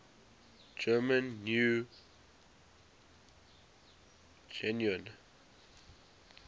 german new guinea